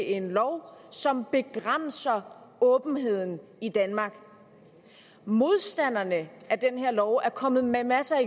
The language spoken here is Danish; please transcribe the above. en lov som begrænser åbenheden i danmark modstanderne af den her lov er kommet med masser